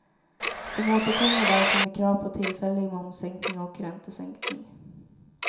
De återkommer därför med krav på tillfällig momssänkning och räntesänkning.